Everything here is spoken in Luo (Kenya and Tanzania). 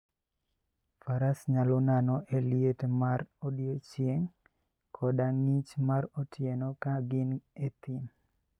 Faras nyalo nano e liet mar odiechieng' koda ng'ich mar otieno ka gin e thim.